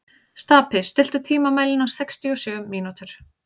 Stapi, stilltu tímamælinn á sextíu og sjö mínútur.